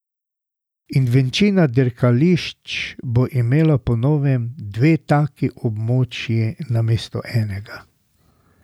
In večina dirkališč bo imela po novem dve taki območji namesto enega.